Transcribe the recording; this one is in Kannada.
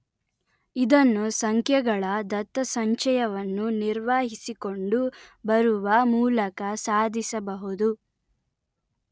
ಇದನ್ನು ಸಂಖ್ಯೆಗಳ ದತ್ತಸಂಚಯವನ್ನು ನಿರ್ವಹಿಸಿಕೊಂಡು ಬರುವ ಮೂಲಕ ಸಾಧಿಸಬಹುದು